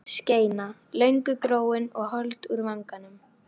Þar var ljót skeina, löngu gróin og hold úr vanganum.